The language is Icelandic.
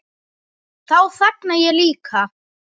Þá þagna ég líka.